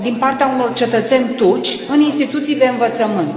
din partea unor cetățeni turci în instituții de învățământ.